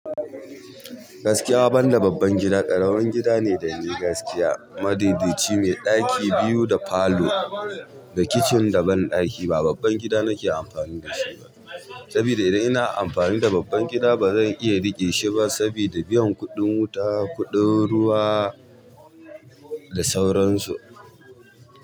Gaskiya banda babban gida, ƙaramin gida ne dani gaskiya. Madaidai ci mai ɗaki biyu da falo da kicin da banɗaki ba babban gida nake amfani da shi ba. Sabida idan ina amfani da babban gida bazan iya riƙe shi ba sabida biyan kuɗin wuta, kuɗin ruwa da sauransu.